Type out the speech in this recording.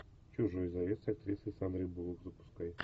чужой завет с актрисой сандрой буллок запускай